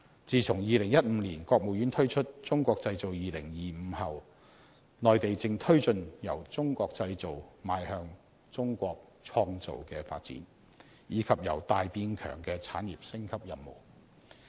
自從2015年國務院推出"中國製造 2025" 後，內地正推進由"中國製造"邁向"中國創造"的發展，以及"由大變強"的產業升級任務。